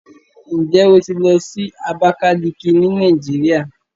Ǹjẹ́ o ti lọ sí Abákálíkí ní Nàìjíríà?